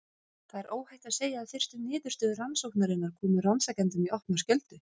Það er óhætt að segja að fyrstu niðurstöður rannsóknarinnar komu rannsakendum í opna skjöldu.